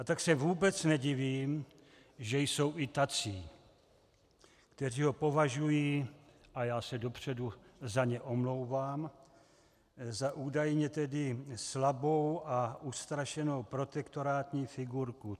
A tak se vůbec nedivím, že jsou i tací, kteří ho považují, a já se dopředu za ně omlouvám, za údajně tedy slabou a ustrašenou protektorátní figurku.